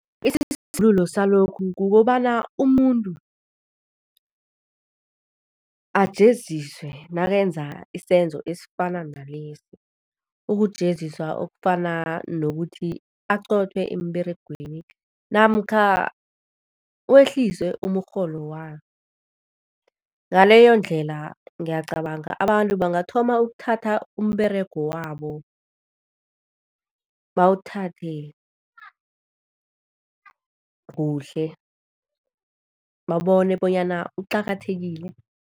Salokhu kukobana umuntu ajeziswe nakenza isenzo esifana nalesi. Ukujeziswa okufana nokuthi aqothwe emberegweni namkha wehliswe umrholo wakhe, ngaleyondlela ngiyacabanga abantu bangathoma ukuthatha umberego wabo, bawuthathe kuhle, babone bonyana uqakathekile.